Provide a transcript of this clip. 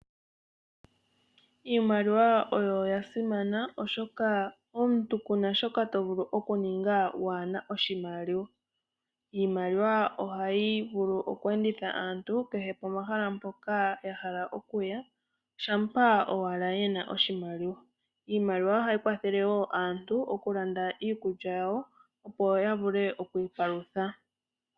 Iimaliwa oya simna oshoka omuntu kuna shoka tovulu okuninga waana oshimaliwa. Iimaliwa oha yi vulu okweenditha aantu kehe pomahala mpoka yahala oku ya, shaampa ashike yena oshimaliwa. Oha yi kwathele wo aantu okulanda iikulya yawo yavule oku ipalutha.